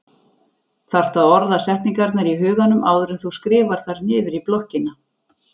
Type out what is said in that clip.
Þarft að orða setningarnar í huganum áður en þú skrifar þær niður í blokkina.